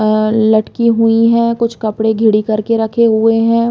और लटकी हुई है कुछ कपड़े घिरी कर के रखें हुए है।